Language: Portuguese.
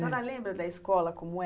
A senhora lembra da escola como era?